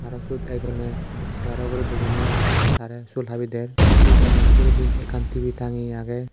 araw syot ekjoney segaro ugurey bujinei tarey sul habi der se dogano bidiredi ekkan tv tangeye agey.